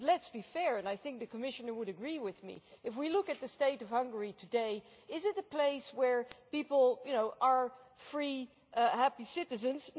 But let us be fair and I think the Commissioner would agree with me if we look at the state of Hungary today, is it a place where people are free, happy citizens?